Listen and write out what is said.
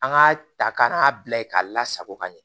An k'a ta ka n'a bila ye k'a lasago ka ɲɛ